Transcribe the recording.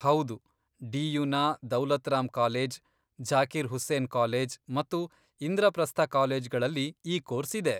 ಹೌದು, ಡಿ.ಯು.ನ Daulat Ram college, Zakir Hussain college ಮತ್ತು ಇಂದ್ರಪ್ರಸ್ಥ ಕಾಲೇಜ್ಗಳಲ್ಲಿ ಈ ಕೋರ್ಸ್ ಇದೆ.